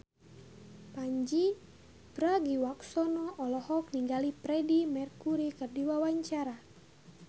Pandji Pragiwaksono olohok ningali Freedie Mercury keur diwawancara